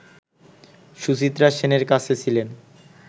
সুচিত্রা সেনের কাছে ছিলেন